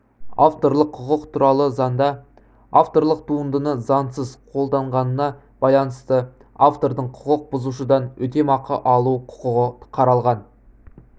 авторлық құқық туралы заңда авторлық туындыны заңсыз қолданғанына байланысты автордың құқық бұзушыдан өтемақы алу құқығы қаралған